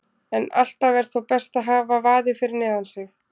En alltaf er þó best að hafa vaðið fyrir neðan sig.